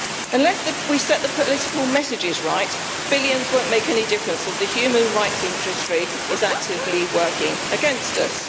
Unless we set the political messages right, billions will not make any difference, as the human rights industry is actively working against us.